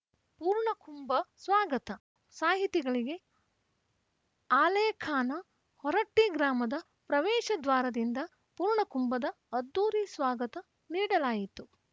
ಪೂರ್ಣಕುಂಭ ಸ್ವಾಗತ ಸಾಹಿತಿಗಳಿಗೆ ಆಲೇಖಾನ ಹೊರಟ್ಟಿಗ್ರಾಮದ ಪ್ರವೇಶ ದ್ವಾರದಿಂದ ಪೂರ್ಣಕುಂಭದ ಅದ್ಧೂರಿ ಸ್ವಾಗತ ನೀಡಲಾಯಿತು